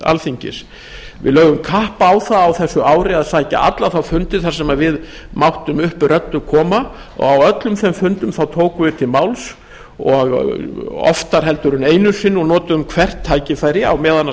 alþingis við lögðum kapp á það á þessu ári að sækja alla þá fundi þar sem við máttum upp röddu koma og á öllum þeim fundum tókum við til máls oftar en einu sinni og notuðum hvert tækifæri á meðan